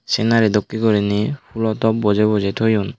scenary dokkey goriney fulo top bojay bojay toyon.